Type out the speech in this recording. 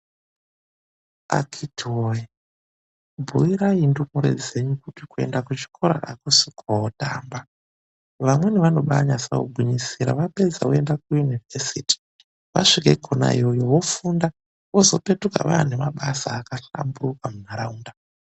Akhiti woye bhuuirai ndumure dzenyu kut kuenda kuchikora akusi kootamba, vamweni vanobaanyasa kugwinyisira vapedza voenda kuyunivhesiti vasvika kona iyoyo vofunda vozopetuka vane mabasa akahlamburuka munharaunda.